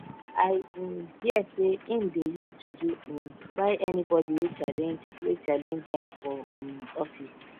i um hear sey im dey use juju um kpai anybodi wey challenge wey challenge am for um office